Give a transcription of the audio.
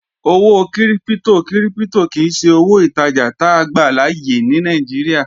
Owó kírípítò kírípítò kìí ṣe owó ìtajà táa gbàláyè ní Nàìjíríà